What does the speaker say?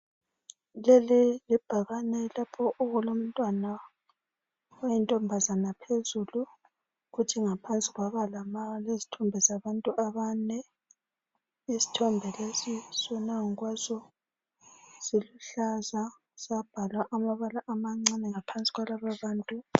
Leli libhakane lapho okulomntwana oyintombazana phezulu kuthi ngaphansi kwaba lezithombe zabantu abane. Isithombe lesi sona ngokwaso siluhlanza sabhalwa amabala amancane ngaphansi kwalaba bantu labo.